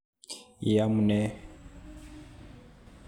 Iamune?